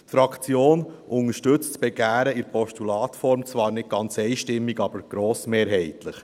Die Fraktion unterstützt das Begehren in Postulatsform zwar nicht ganz einstimmig, aber doch grossmehrheitlich.